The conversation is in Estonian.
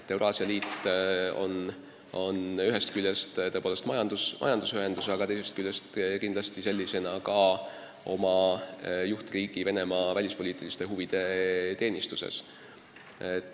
Euraasia Liit on ühest küljest tõepoolest majandusühendus, aga teisest küljest seisab see oma juhtriigi Venemaa välispoliitiliste huvide teenistuses.